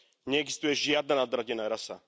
Neexistuje žiadna nadradená rasa.